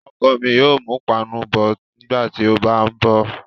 ọkọ mi yóò mú pana bọ̀ nígbàtí ó bá ń bọ̀.